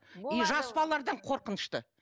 и жас балалардан қорқынышты